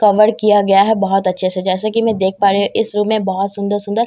cover किया गया है बहुत अच्छे से जैसा की मैं देख पा रही हूँ इस रूम में बहुत सुंदर सुंदर लाइट लगे हुए --